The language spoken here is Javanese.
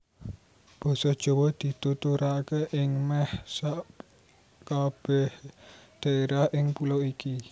Basa Jawa dituturaké ing mèh sakabèh dhaérah ing pulo iki